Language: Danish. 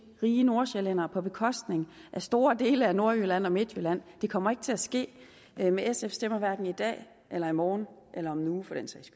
rige nordsjællændere på bekostning af store dele af nordjylland og midtjylland det kommer ikke til at ske med sfs stemmer hverken i dag eller i morgen eller om en